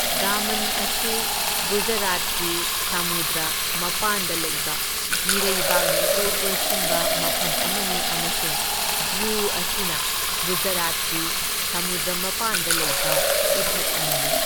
ꯗꯃꯟ ꯑꯁꯤ ꯒꯨꯖꯔꯥꯠꯀꯤ ꯁꯃꯨꯗ꯭ꯔ ꯃꯄꯥꯟꯗ ꯂꯩꯕ ꯃꯤꯔꯩꯕꯥꯛꯅ ꯏꯀꯣꯏ ꯀꯣꯏꯁꯤꯟꯕ ꯃꯐꯝ ꯑꯃꯅꯤ ꯑꯃꯁꯨꯡ ꯗ꯭ꯌꯨ ꯑꯁꯤꯅ ꯒꯨꯖꯔꯥꯠꯀꯤ ꯁꯃꯨꯗ꯭ꯔ ꯃꯄꯥꯟꯗ ꯂꯩꯕ ꯏꯊꯠ ꯑꯃꯅꯤ꯫